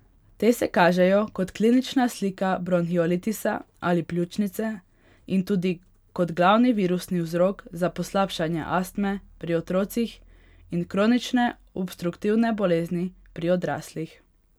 Te se kažejo kot klinična slika bronhiolitisa ali pljučnice in tudi kot glavni virusni vzrok za poslabšanje astme pri otrocih in kronične obstruktivne bolezni pri odraslih.